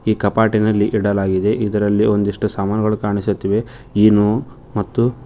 ಇಲ್ಲಿ ಕಪಾಟಿನಲ್ಲಿ ಇಡಲಾಗಿದೆ ಇದರಲ್ಲಿ ಒಂದಿಷ್ಟು ಸಾಮಾನುಗಳು ಕಾಣಿಸುತ್ತಿವೆ ಇನೊ ಮತ್ತು--